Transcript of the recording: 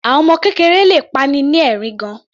Àwọn ọmọ kékeré le pa'ni ni ẹ̀rín gan-an.